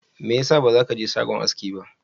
Mai yasa baza kaje shagon aski ba?